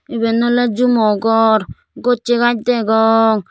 iben oley jumo gor gossey gaaz degong.